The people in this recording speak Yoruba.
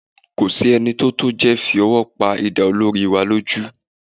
Kò sí ẹni tó jẹ́ fi ọwọ́ pa idà olórí wa lójú